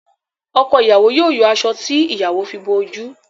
Ọkọ ìyàwó yóò yọ aṣọ tí ìyàwó fi bo oju